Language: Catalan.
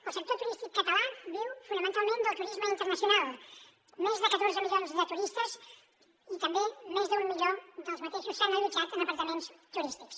el sector turístic català viu fonamentalment del turisme internacional més de catorze milions de turistes i també més d’un milió d’aquests s’han allotjat en apartaments turístics